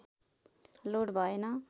load भएन